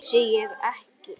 Vissi ég ekki!